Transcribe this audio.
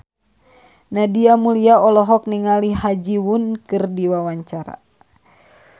Nadia Mulya olohok ningali Ha Ji Won keur diwawancara